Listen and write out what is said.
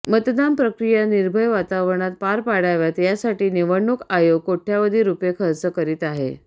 मतदान प्रक्रिया निर्भय वातावरणात पार पाडाव्यात यासाठी निवडणूक आयोग कोट्यवधी रुपये खर्च करीत आहे